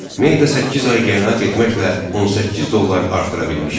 Meyda səkkiz ay qənaət etməklə 18 dollar artıra bilmişdi.